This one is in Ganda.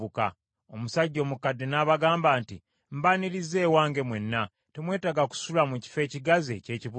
Omusajja omukadde n’abagamba nti, “Mbanirizza ewange mwenna. Temwetaaga kusula mu kifo ekigazi eky’ekibuga.”